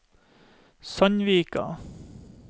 Sandvika